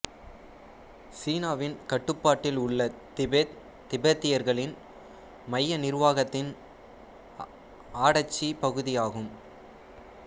சீனாவின் கட்டுப்பாட்டில் உள்ள திபெத் திபெத்தியர்களின் மைய நிர்வாகத்தின் ஆடசிப் பகுதியாகும்